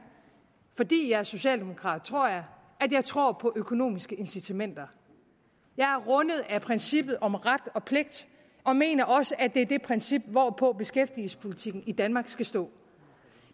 fordi jeg er socialdemokrat tror jeg at jeg tror på økonomiske incitamenter jeg er rundet af princippet om ret og pligt og mener også at det er det princip hvorpå beskæftigelsespolitikken i danmark skal stå